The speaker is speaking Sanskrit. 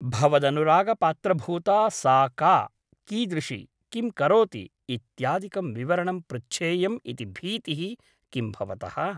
भवदनुरागपात्रभूता सा का , कीदृशी , किं करोति इत्यादिकं विवरणं पृच्छेयम् इति भीतिः किं भवतः ?